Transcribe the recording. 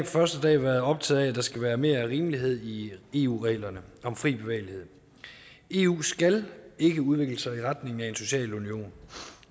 første dag været optaget af at der skal være mere rimelighed i eu reglerne om fri bevægelighed eu skal ikke udvikle sig i retning af en social union